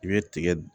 I bɛ tigɛ